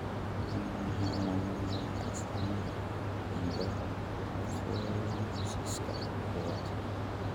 Waa maxay calaamadaha iyo astaamaha Chondrocalcinosis kowad?